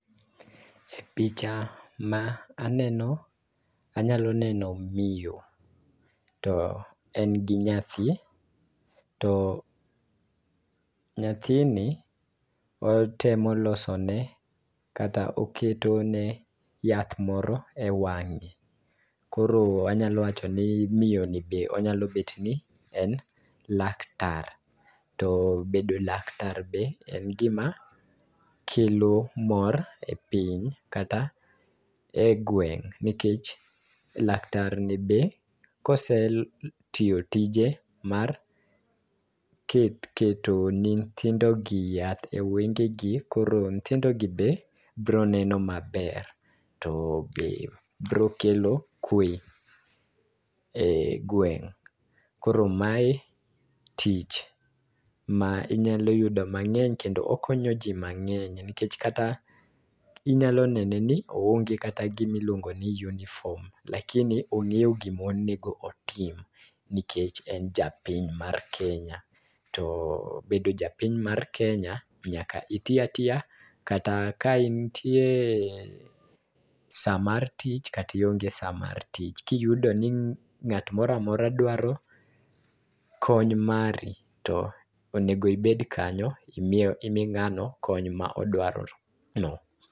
Picha ma aneno anyalo neno miyo to en gi nyathi to nyathini otemo losone kata oketone yath moro e wang'e. Koro anyalo wacho ni miyoni be onyalo bedo ni en laktar, to bedo laktar be en gima kelo mor e piny kata e gweng' nikech, laktar ni be kosetiyo tije mar keto ni nyithindogi yath e wengegi, koro nyithindogi be broneno maber. To be bro kelo kwe e gweng'. Koro mae tich ma inyalo yudo mang'eny kendo okonyo ji mang'eny, nikech kata inyalo nene ni oonge kata gimiluongo ni uniform, lakini ong'eyo gimonego otim nikech en japiny mar Kenya. To bedo japiny mar Kenya, nyaka iti atiya kata ka intie sama mar tich, kata ionge sa mar tich. Kiyudo ni ng'at mora mora dwaro kony mari to onego ibed kanyo imi ng'ano kony ma odwarono.